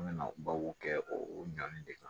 An bɛna babu kɛ o ɲani de kan